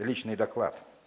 личный доклад